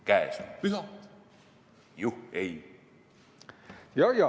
Käes on pühad, juhhei!